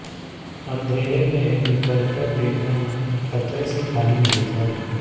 अंधेरे में निकलकर देखना खतरे से खाली नहीं था